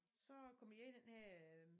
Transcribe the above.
Så kommer de ned i den her øh